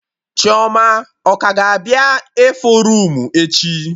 Chioma ọ ka ga-abịa ịfụ roomu echi?